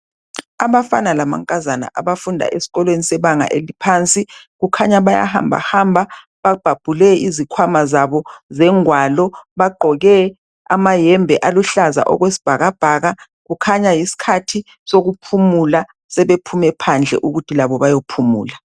Abafana lamankazana abafunda esikolweni sebanga eliphansi kukhanya bayahambahamba babhabhule izikhwama zabo zengwalo Bagqoke amayembe aluhlaza okwesibhakabhaka .Kukhanya yisikhathi sokuphumula .Sebephume phandle ukuthi labo bayophumula